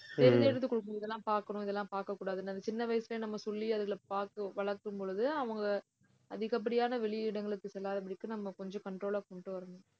இதெல்லாம் பாக்கணும், இதெல்லாம் பாக்கக்கூடாதுன்னு அந்த சின்ன வயசுலயே நம்ம சொல்லி அதுல பாத்து வளர்க்கும் பொழுது அவங்க அதிகப்படியான வெளியிடங்களுக்கு செல்லாதபடிக்கு நம்ம கொஞ்சம் control ஆ கொண்டு வரணும்